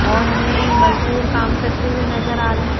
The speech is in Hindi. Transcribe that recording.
और हमें मजदूर काम करते हुए नजर आ रहे--